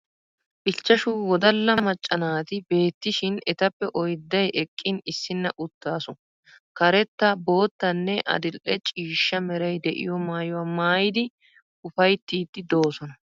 Ichchashu wodalla macca naati beetishin etappe oydday eqqin issinna uttaasu. Karetta, boottanne adil'e ciishsha meray de'iyo maayuwaa maayidi ufayttiiddi doosona.